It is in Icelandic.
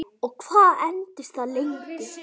Og hvað entist það lengi?